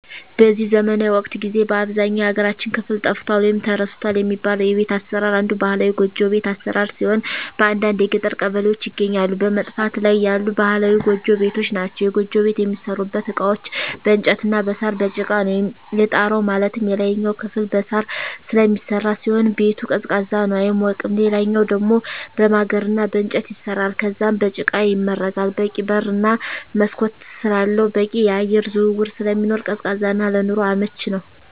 በዚህ ዘመናዊ ወቅት ጊዜ በአብዛኛው የሀገራችን ክፍል ጠፍቷል ወይም ተረስቷል የሚባለው የቤት አሰራር አንዱ ባህላዊ ጎጆ ቤት አሰራር ሲሆን በአንዳንድ የገጠር ቀበሌዎች ይገኛሉ በመጥፋት ላይ ያሉ ባህላዊ ጎጆ ቤቶች ናቸዉ። የጎጆ ቤት የሚሠሩበት እቃዎች በእንጨት እና በሳር፣ በጭቃ ነው። የጣራው ማለትም የላይኛው ክፍል በሳር ስለሚሰራ ሲሆን ቤቱ ቀዝቃዛ ነው አይሞቅም ሌላኛው ደሞ በማገር እና በእንጨት ይሰራል ከዛም በጭቃ ይመረጋል በቂ በር እና መስኮት ስላለው በቂ የአየር ዝውውር ስለሚኖር ቀዝቃዛ እና ለኑሮ አመቺ ነው።